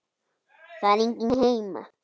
Það er engin hemja.